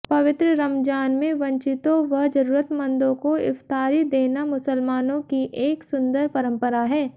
पवित्र रमज़ान में वंचितों व ज़रूरतमंदों को इफ़्तारी देना मुसलमानों की एक सुंदर परंपरा है